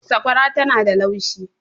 sakwara tana da laushi